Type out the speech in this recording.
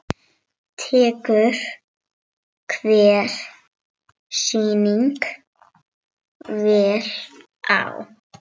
Tekur hver sýning vel á?